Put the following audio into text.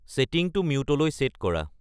ছেটিংটো মিউটলৈ ছেট কৰা